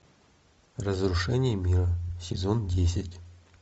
разрушение мира сезон десять